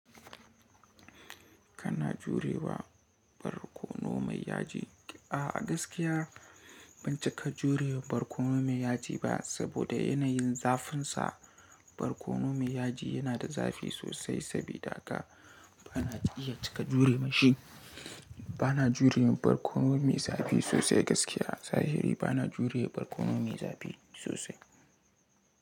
Kana jurewa barkono mai yaji. A gaskiya ban cika jure barkono mai yaji ba saboda yanayin zafinsa. Barkono mai yaji yana da zafi sosai, sabida haka bana iya cika jure ma shi. Bana jure barkono mai zafi sosai gaskiya. Zahiri bana jure barkono mai zafi sosai.